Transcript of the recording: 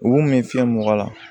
U kun bɛ fiyɛ mɔgɔ la